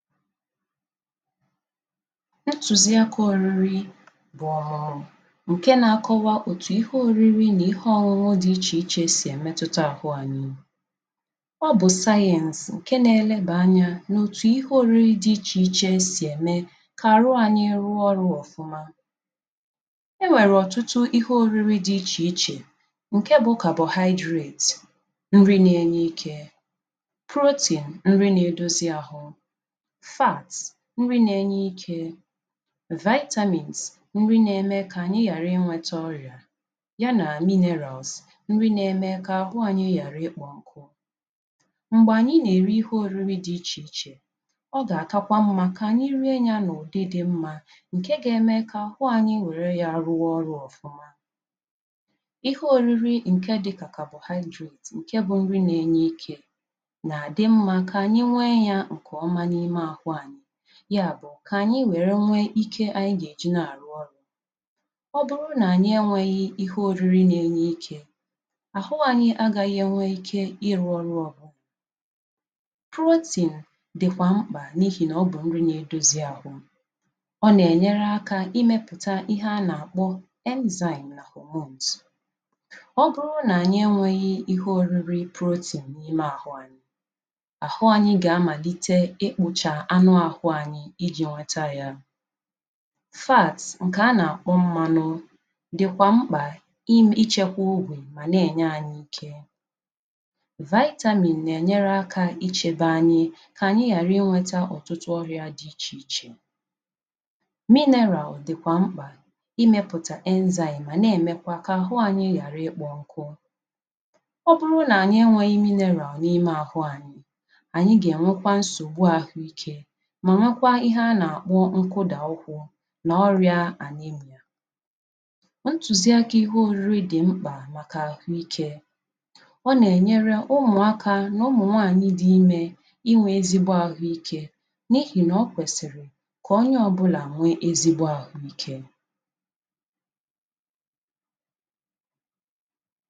Ntùzi akā òriri bụ̀ ọ̀mụ̀mụ̀ ǹke nā-akọwa òtù ihe oriri nà ihe ọnụnụ dị ichè ichè sì èmetuta àhụ anyị Ọ bụ̀ sayẹ̄ǹsị̀ ǹke nā-elebà anyā nà-ètù ihe oriri dị ichè ichè sì ème kà àrụ anyị rụọ ọrụ̄ ọ̀fụma E nwèrè ọ̀tụtụ ihe òriri dị ichè ichè ǹke bụ̄ ‘carbohydrate’ nri nā-enye ikē ‘protein’ nri nā-edozi ahụ, ‘fat’ nri nā-enye ikē ‘vitamins’ nri nā-eme kà ànyi yàrị inwētā orị̀à ya nà ‘minerals’ nri nā-eme kà àhụ anyị yàrị ịkpọ̄ nkụ M̀gbè ànyị nà-èri ihe òriri dị ichè ichè o gà-àkakwa mmá kà ànyị rie nyā n’ụ̀dị dị mmā ǹke gā-eme kà àhụ anyi wère yā rụọ ọrụ̄ ọ̀fụma Ihe oriri ǹke dị kà ‘carbohydrate’ ǹke bụ̄ nri nā-enye ikē nà-àdị mmā kà ànyị nwee yā ǹkèọma n’ime àhụ anyị ya bù kà ànyị nwère nwee ike ànyị gà-èji na-àrụ ọrụ̄ ọ bụrụ nà ànyị enwēghī ihe òriri nà-enye ikē àhụ anyị agāghị̄ ènwe ike ịrụ̄ ọrụ ọbụ ‘Protein’ dị̀kwà mkpà n’ihì nà ọ bụ̀ nri nā-edozi ahụ ọ nà-ènyere akā imēpùtà ihe a nà-àkpọ ‘enzymes’ nà ‘hormones’ ọ bụrụ nà ànyị énwēghī ihe òriri ‘protein’ n’ime àhụ anyị àhụ anyị gà-amàlite ịkpụ̀chà anụ ahụ anyị ijī nweta yā ‘Fat’ ǹkè a nà-àkpọ mmānụ̄ dị̀kwà mkpà ichēkwā obì mà na-ènye anyị ike ‘Vitamin’ nà-ènyere akā ichēbā anyị kà ànyị yàrị inwētā ọrị̄ā dị ichè ichè ‘Mineral’ dị̀kwà mkpà imēpùtà enzymes mà na-èmekwa kà àhụ anyị yàrị ịkpọ̄ nkụ ọ bụrụ nà ànyị enwēghī ‘mineral’ n’ime ahụ anyị, ànyị gà-ènwekwa nsògbu ahụikē mà nwekwa ihe a nà-àkpọ nkụdà ukwū nà ọrị̄ā ‘anemia’ Ntùzi akā ihe òriri dị̀ mkpà màkà àhụikē, ọ nà-ènyere ụmụ̀akā nà ụmụ̀nwaànyị dị imē inwē ezigbo àhuikē n’ihì nà o kwèsìrì kà onye ọ̀bụlà nwee àhụikē